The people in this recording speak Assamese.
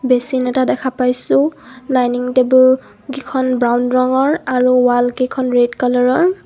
বেচিন এটা দেখা পাইছোঁ ডাইনিং টেবুল কিখন ব্ৰাউন ৰঙৰ আৰু ৱালকেইখন ৰেড কালাৰৰ।